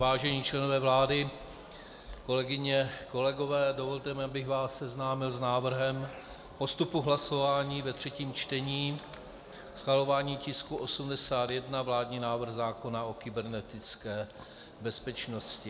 Vážení členové vlády, kolegyně, kolegové, dovolte mi, abych vás seznámil s návrhem postupu hlasování ve třetím čtení, schvalování tisku 81, vládní návrh zákona o kybernetické bezpečnosti.